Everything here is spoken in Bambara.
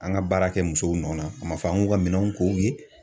An ka baara kɛ musow nɔ na, a ma fɔ an k'u ka minɛnw ko u ye.